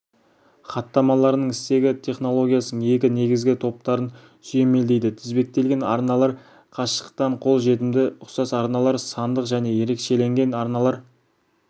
хаттамаларының стегі технологиясының екі негізгі топтарын сүйемелдейді тізбектелген арналар қашықтықтан қол жетімді ұқсас арналар сандық және ерекшеленген арналар